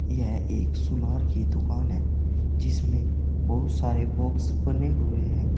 यह एक सुनार की दुकान है जिसमें बहुत सारे बॉक्स बने हुए हैं।